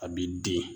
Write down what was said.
A b'i den